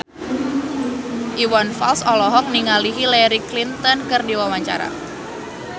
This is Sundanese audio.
Iwan Fals olohok ningali Hillary Clinton keur diwawancara